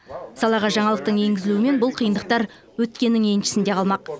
салаға жаңалықтың енгізілуімен бұл қиындықтар өткеннің еншісінде қалмақ